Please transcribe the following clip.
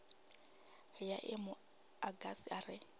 ya emu agasi a re